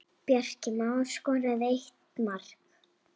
Bjarki Már skoraði eitt mark.